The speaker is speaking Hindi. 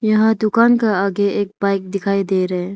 यहां दुकान का आगे एक बाइक दिखाई दे रहे।